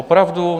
Opravdu?